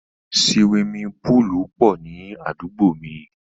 Siwimi púùlù pọ̀ ní àdúgbò mi.